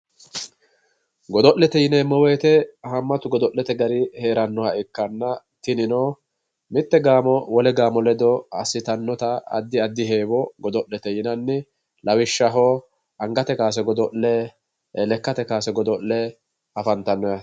Godo'lete yineemmo woyiite haammatu godo'lete gari heerannoha ikkanna tinino mitte gaamo wole gaamo ledo assitannota addi addi heewo godo'lete yinanni. Lawishshaho angate kaase godo'le, lekkate kaase godo'le afantanno yaate.